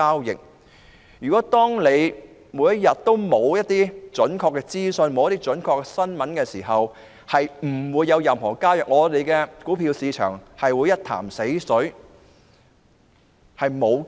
如沒有準確的資訊及新聞發布，便不會有任何交易，我們的股票市場會變成一潭死水。